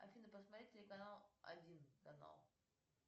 афина посмотреть телеканал один канал